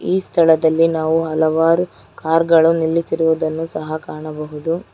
ಈ ಸ್ಥಳದಲ್ಲಿ ನಾವು ಹಲವಾರು ಕಾರ್ ಗಳು ನಿಲ್ಲಿಸಿರುವುದನ್ನು ಸಹ ಕಾಣಬಹುದು.